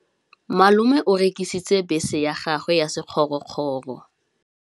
Malome o rekisitse bese ya gagwe ya sekgorokgoro.